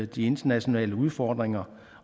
de internationale udfordringer